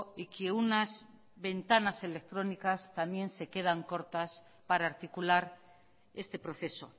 y que unas ventanas electrónicas también se quedan cortas para articular este proceso